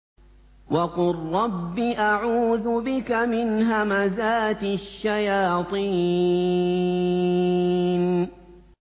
وَقُل رَّبِّ أَعُوذُ بِكَ مِنْ هَمَزَاتِ الشَّيَاطِينِ